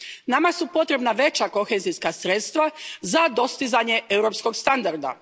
Nama su potrebna veća kohezijska sredstva za dostizanje europskog standarda.